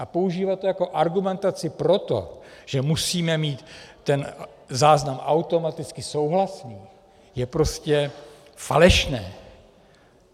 A používat to jako argumentaci pro to, že musíme mít ten záznam automaticky souhlasný, je prostě falešné.